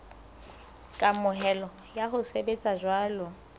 kamohelo ya ho sebetsa jwalo